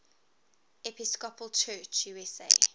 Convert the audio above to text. episcopal church usa